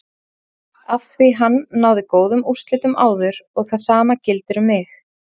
Afþví hann náði góðum úrslitum áður og það sama gildir um mig.